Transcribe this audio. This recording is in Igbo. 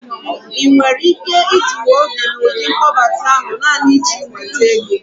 ị nwere ike idiwu obi n'ụdị mkpọbata ahụ naanị iji nweta ego?